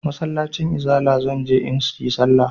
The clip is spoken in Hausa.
Masallacin izala zan je in yi sallah.